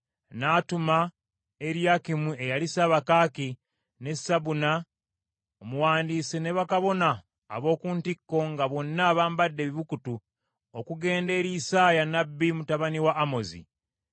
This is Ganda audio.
N’atuma Eriyakimu eyali ssabakaaki, ne Sebuna omuwandiisi ne bakabona ab’oku ntikko, nga bonna bambadde ebibukutu, okugenda eri Isaaya nnabbi mutabani wa Amozi.